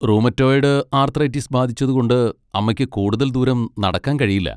Rheumatoid arthritis ബാധിച്ചതുകൊണ്ട് അമ്മയ്ക്ക് കൂടുതൽ ദൂരം നടക്കാൻ കഴിയില്ല.